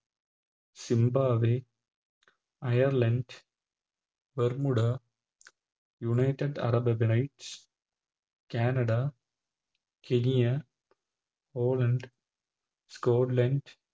Zimbabwe Ireland Bermuda United arab emirates Canada Kenya Poland Scotland